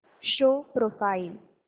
show profile